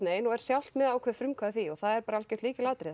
og er sjálft með ákveðið frumkvæði af því og það er bara algjört lykilatriði